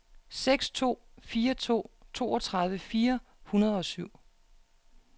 seks to fire to toogtredive fire hundrede og syv